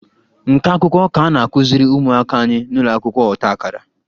Nka akwụkwọ ka a na-akuziri ụmụaka anyị n'ụlọ akwụkwọ ọta akara